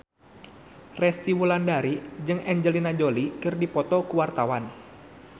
Resty Wulandari jeung Angelina Jolie keur dipoto ku wartawan